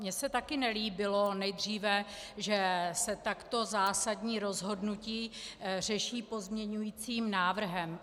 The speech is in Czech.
Mně se taky nelíbilo nejdříve, že se takto zásadní rozhodnutí řeší pozměňovacím návrhem.